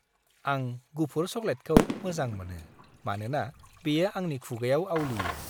आं गुफुर चकलेटखौ मोजां मोनो मानोना बेयो आंनि खुगाआव आवलियो।